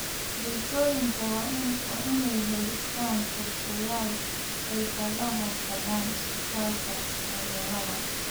Bulshooyinka waa inay yeeshaan qorsheyaal ay kaga hortagaan isbedelka cimilada.